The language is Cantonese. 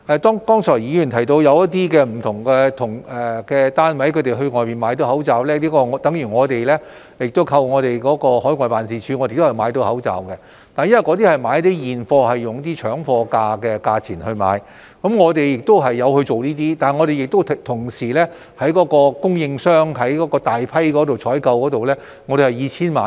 剛才議員提到不同的單位成功在外面購買口罩，這與我們海外辦事處的同事幫忙購買口罩的情況相同，他們以搶貨價購買現貨，我們亦有這樣做，但我們同時會向供應商大批採購，訂購數目以千萬計。